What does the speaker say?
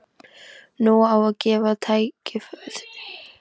Nú á að gefa þeim tækifæri til að ræða málin.